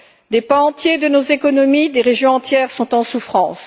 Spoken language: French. Des pans entiers de nos économies, des régions entières sont en souffrance.